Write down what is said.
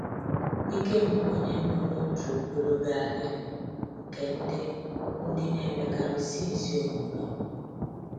Ikem bụ onye mbụ n’otu ogologo ahịrị nke ndị ndị na-emekarisi ezi omume.